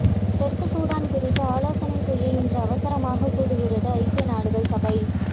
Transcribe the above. தெற்கு சூடான் குறித்து ஆலோசனை செய்ய இன்று அவசரமாக கூடுகிறது ஐக்கிய நாடுகள் சபை